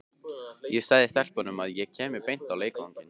Ég sagði stelpunum að ég kæmi beint á leikvanginn.